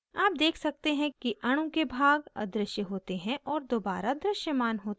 आप देख सकते हैं कि अणु के भाग अदृश्य होते हैं और दोबारा दृश्यमान होते हैं